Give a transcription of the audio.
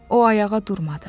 O ayağa durmadı.